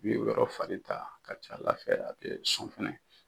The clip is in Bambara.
bɛ o yɔrɔ fari ta ka c'Ala fɛ a bɛ sɔn fɛnɛ.